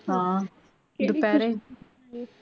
ਹਾਂ ਦੋਪੈਰੇ